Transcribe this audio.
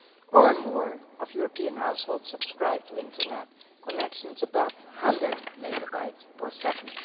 or more of European households have subscribed to Internet connection above 100 megabytes per second.